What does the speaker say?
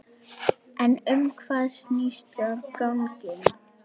En um hvað snýst gangan?